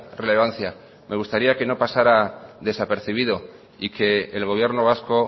relevancia me gustaría que no pasara desapercibido y que el gobierno vasco